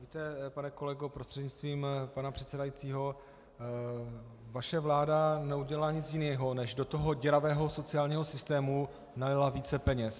Víte, pane kolego prostřednictvím pana předsedajícího, vaše vláda neudělala nic jiného, než do toho děravého sociálního systému nalila více peněz.